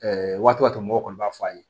waati mɔgɔw kɔni b'a fɔ a ye